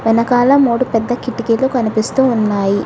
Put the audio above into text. వెనకాల మూడు పెద్ద కిటికీలు కనిపిస్తూ ఉన్నాయి.